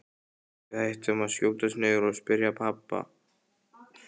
Við ættum kannski að skjótast niður og spyrja pabba.